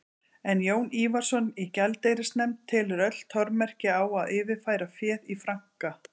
En Jón Ívarsson í gjaldeyrisnefnd telur öll tormerki á að yfirfæra féð í franka.